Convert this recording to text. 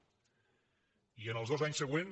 i en els dos anys següents